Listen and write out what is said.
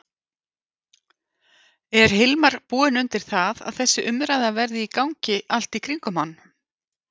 Er Hilmar búinn undir það að þessi umræða verði í gangi allt í kringum hann?